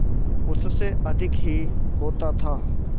उससे अधिक ही होता था